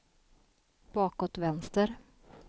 bakåt vänster